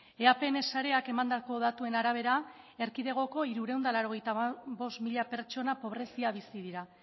eapn sareak emandako datuen arabera erkidegoko hirurehun eta hirurogeita bost mila pertsona pobrezian bizi dira